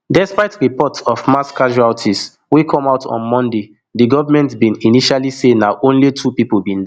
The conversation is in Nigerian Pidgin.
despite reports of mass casualties wey come out on monday di government bin initially say na only two pipo bin die